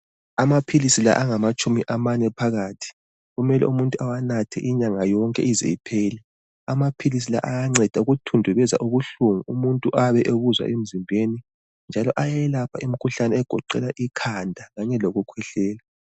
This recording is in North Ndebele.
Amaphilisi la angamatshumi amane phakathi kumele umuntu awanathe inyanga yonke ize iphele. Amaphilisi la ayanceda ukuthundubeza ubuhlungu umuntu ayabe ebuzwa emzimbeni njalo ayelapha imkhuhlane egoqela ikhanda kanye lokukhwehlela.